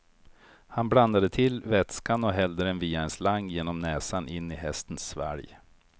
Han blandade till vätskan och hällde den via en slang genom näsan in i hästens svalg.